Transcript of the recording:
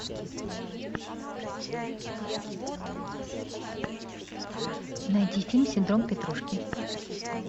найди фильм синдром петрушки